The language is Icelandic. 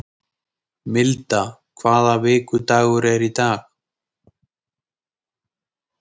Milda, hvaða vikudagur er í dag?